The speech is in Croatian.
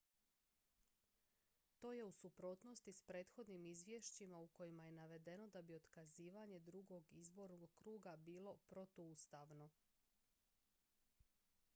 to je u suprotnosti s prethodnim izvješćima u kojima je navedeno da bi otkazivanje drugog izbornog kruga bilo protuustavno